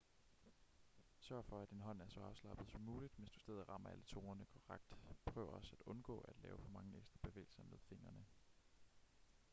sørg for at din hånd er så afslappet som muligt mens du stadig rammer alle tonerne korrekt prøv også at undgå at lave for mange ekstra bevægelser med fingrene